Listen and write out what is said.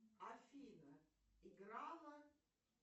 афина играла